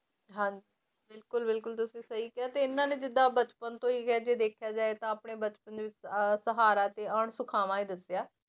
ਹਾਂ ਬਿਲਕੁਲ ਬਿਲਕੁਲ ਤੁਸੀਂ ਸਹੀ ਕਿਹਾ ਤੇ ਇਹਨਾਂ ਨੇ ਜਿੱਦਾਂ ਬਚਪਨ ਤੋਂ ਹੀ ਦੇਖਿਆ ਜਾਏ ਤਾਂ ਆਪਣੇ ਬਚਪਨ ਦੇ ਵਿੱਚ ਅਹ ਸਹਾਰਾ ਤੇ ਅਣਸੁਖਾਵਾਂ ਹੀ ਦੱਸਿਆ